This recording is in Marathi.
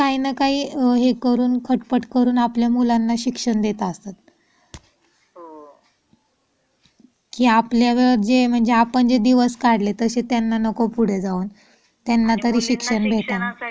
काही ना काही खटपट करून आपल्या मुलांना शिक्षण देतात असतात. की आपल्याला जे दिवस काढले ताशे त्याना नको पुढे जाऊन. त्याना तरी शिक्षण भेटावं.